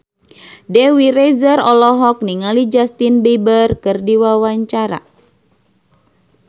Dewi Rezer olohok ningali Justin Beiber keur diwawancara